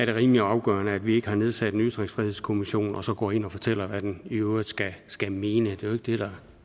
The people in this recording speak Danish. rimelig afgørende at vi ikke har nedsat en ytringsfrihedskommission og så går ind og fortæller hvad den i øvrigt skal skal mene det det der